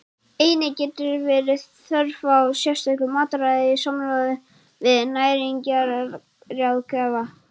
Einnig getur verið þörf á sérstöku mataræði í samráði við næringarráðgjafa.